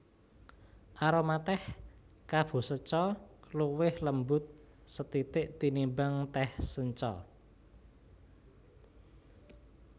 Aroma tèh kabusecha luwih lembut sethithik tinimbang tèh sencha